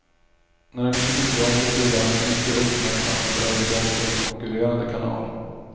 När han inte fick jobbet gjorde han en mycket uppmärksammad övergång till en konkurrerande kanal.